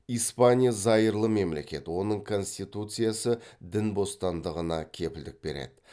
испаня зайырлы мемлекет оның конституциясы дін бостандығына кепілдік береді